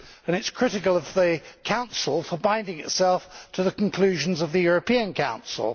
The report is critical of the Council for binding itself to the conclusions of the European Council.